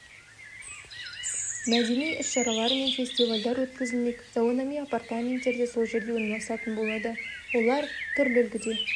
мәдени іс-шаралар мен фестивальдар өткізілмек заманауи апартаменттер де сол жерде орналасатын болады олар түрлі үлгіде